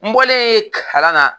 N bɔlen yen kalan na